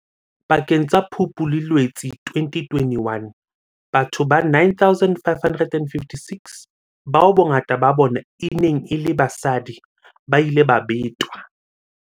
Pakeng tsa Phupu le Loetse 2021, batho ba 9 556, bao bongata ba bona e neng e le basadi, ba ile ba betwa.